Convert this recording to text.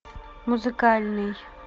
музыкальный